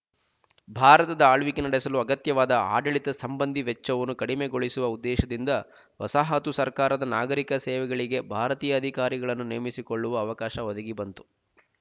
ಭಾರತದ ಆಳ್ವಿಕೆ ನಡೆಸಲು ಅಗತ್ಯವಾದ ಆಡಳಿತ ಸಂಬಂಧಿ ವೆಚ್ಚವನ್ನು ಕಡಿಮೆಗೊಳಿಸುವ ಉದ್ದೇಶದಿಂದ ವಸಾಹತು ಸರ್ಕಾರದ ನಾಗರಿಕ ಸೇವೆಗಳಿಗೆ ಭಾರತೀಯ ಅಧಿಕಾರಿಗಳನ್ನು ನೇಮಿಸಿಕೊಳ್ಳುವ ಅವಕಾಶ ಒದಗಿಬಂತು